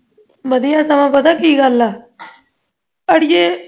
ਵਰ੍ਹਿਆਂ ਤਾਂ ਪਤਾ ਕੀ ਗੱਲ ਐ ਅੜੀਏ